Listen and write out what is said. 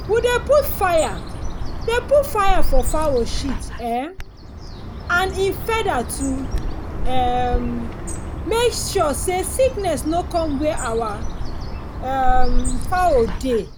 we dey put fire dey put fire for fowl shit um and e feather to um make sure say sickness no come where our um fowl dey